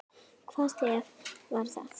Hvaða stef var það?